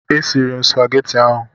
E siri m supageti ahụ.